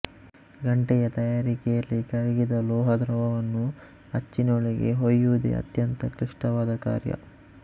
ಗಂಟೆಯ ತಯಾರಿಕೆಯಲ್ಲಿ ಕರಗಿದ ಲೋಹದ್ರವವನ್ನು ಅಚ್ಚಿನೊಳಗೆ ಹೊಯುವುದೇ ಅತ್ಯಂತ ಕ್ಲಿಷ್ಟವಾದ ಕಾರ್ಯ